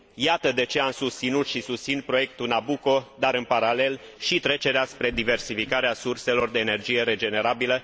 Iată de ce am susținut și susțin proiectul Nabucco dar, în paralel, și trecerea spre diversificarea surselor de energie regenerabilă.